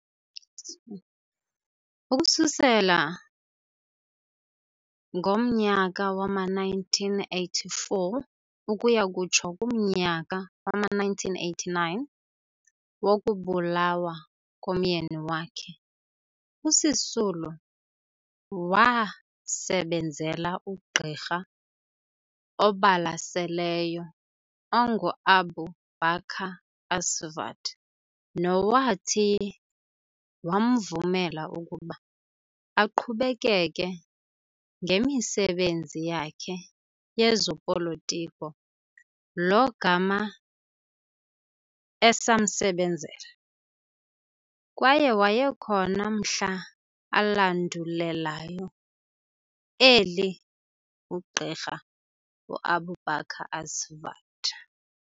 Ukususela ngomnyaka wama-1984 ukuya kutsho kumnyaka wama-1989 wokubulawa komyeni wakhe, uSisulu wasebenzela uGqirha obalaseleyo onguAbu Baker Asvat nowathi wamvumela ukuba aqhubekeke ngemisebenzi yakhe yezopolitiko lo gama esamsebenzela, kwaye wayekhona mhla alandulelayo eli uGqirha uAbu Baker Asvat.